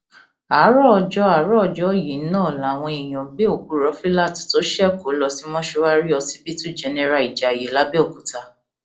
àárọ ọjọ àárọ ọjọ yìí náà làwọn èèyàn gbé òkú rọfílát tó ṣekú lọ sí mọṣúárì ọsibítù jẹnẹrà ìjayé làbẹọkúta